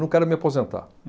Não quero me aposentar.